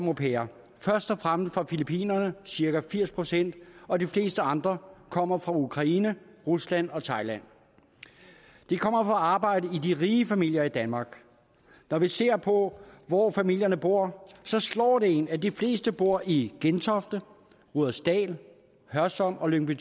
au pairer først og fremmest fra filippinerne cirka firs procent og de fleste andre kommer fra ukraine rusland og thailand de kommer for at arbejde hos de rige familier i danmark når man ser på hvor familierne bor så slår det en at de fleste bor i gentofte rudersdal hørsholm og lyngby